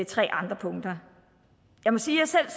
tre andre punkter jeg må sige